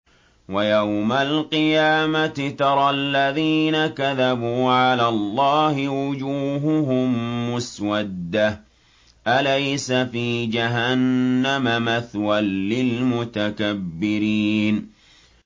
وَيَوْمَ الْقِيَامَةِ تَرَى الَّذِينَ كَذَبُوا عَلَى اللَّهِ وُجُوهُهُم مُّسْوَدَّةٌ ۚ أَلَيْسَ فِي جَهَنَّمَ مَثْوًى لِّلْمُتَكَبِّرِينَ